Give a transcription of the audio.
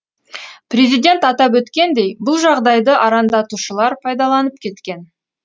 президент атап өткендей бұл жағдайды арандатушылар пайдаланып кеткен